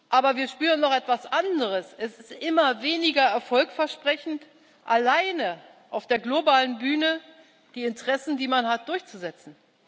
Aber wir spüren noch etwas anderes Es ist immer weniger erfolgversprechend, alleine auf der globalen Bühne die Interessen, die man hat, durchzusetzen.